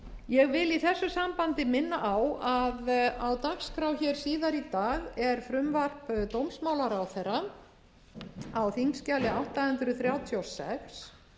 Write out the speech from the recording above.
ég vil í þessu sambandi minna á að á dagskrá hér síðar í dag er frumvarp dómsmálaráðherra á þingskjali átta hundruð þrjátíu og sex